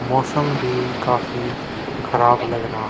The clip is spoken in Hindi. मौसम भी काफी खराब लग रहा।